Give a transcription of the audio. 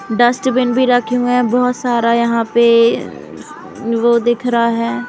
Dustbin भी रखे हुए हैं| बहोत सारा यहाँ पे वो दिख रहा है।